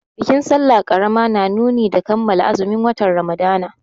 Bikin sallah ƙarama na nuni da kammala azumin watan Ramadana.